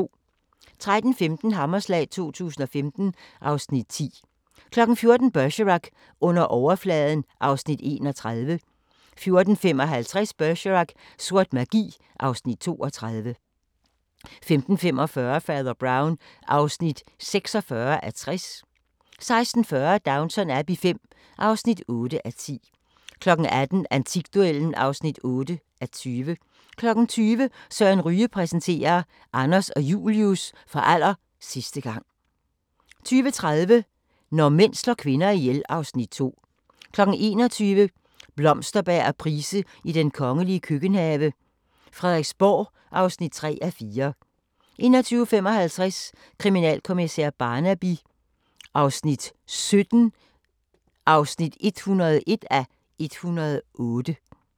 13:15: Hammerslag 2015 (Afs. 10) 14:00: Bergerac: Under overfladen (Afs. 31) 14:55: Bergerac: Sort magi (Afs. 32) 15:45: Fader Brown (46:60) 16:40: Downton Abbey V (8:10) 18:00: Antikduellen (8:20) 20:00: Søren Ryge præsenterer: Anders og Julius – for aller sidste gang 20:30: Når mænd slår kvinder ihjel (Afs. 2) 21:00: Blomsterberg og Price i den kongelige køkkenhave: Frederiksborg (3:4) 21:55: Kriminalkommissær Barnaby XVII (101:108)